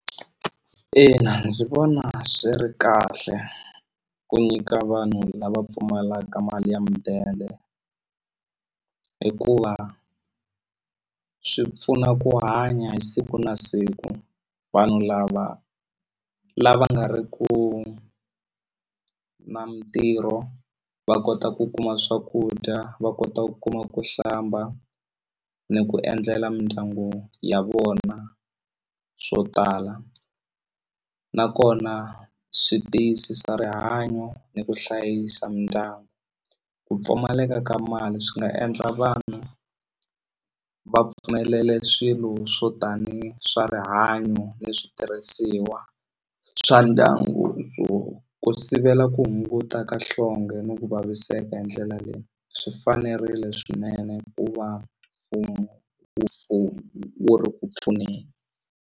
Ina ndzi vona swi ri kahle ku nyika vanhu lava pfumalaka mali ya mudende hikuva swi pfuna ku hanya hi siku na siku vanhu lava lava nga ri ku na mintirho va kota ku kuma swakudya va kota ku kuma ku hlamba ni ku endlela mindyangu ya vona swo tala nakona swi tiyisisa rihanyo ni ku hlayisa mindyangu ku pfumaleka ka mali swi nga endla vanhu va pfumelela swilo swo tani swa rihanyo ni switirhisiwa swa ndyangu ku ku sivela ku hunguta ka nhlonge ni ku vaviseka hi ndlela leyi swi fanerile swinene ku va mfumo wu wu ri ku pfuneni.